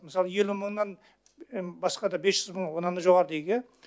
мысалы елу мыңнан басқа да бес жүз мың оннан да жоғары дейік иә